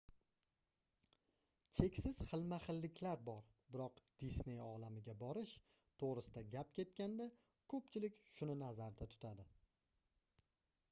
cheksiz xilma-xilliklar bor biroq disney olamiga borish toʻgʻrisida gap ketganda koʻpchilik shuni nazarda tutadi